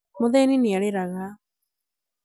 mũthĩni nĩ arĩraga